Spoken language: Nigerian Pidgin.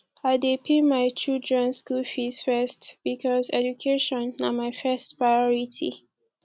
i dey pay my children skool fees first because education na my first priority